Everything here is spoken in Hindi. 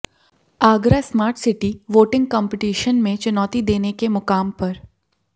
Agra smart city voting competition में चुनौती देने के मुकाम पर